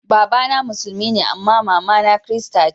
Baba na musulmi ne amma mama na kirista ce.